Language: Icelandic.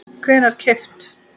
hvenær keypt?